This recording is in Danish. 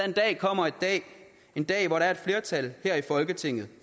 er da ene